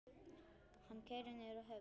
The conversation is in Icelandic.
Hann keyrir niður að höfn.